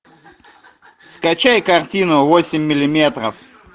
скачай картину восемь миллиметров